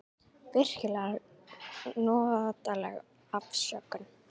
Virkilega notaleg afsökun.